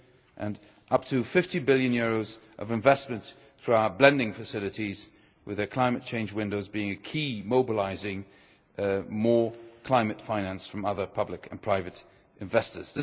and up to EUR 50 billion of investment through our blending facilities, with our Climate Change Windows being a key mobilising more climate finance from other public and private investors.